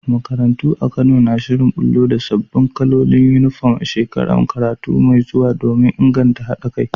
Makarantu a Kano na shirin bullo da sabbin kalolin Uniform a shekarar karatu mai zuwa domin inganta haɗa kai.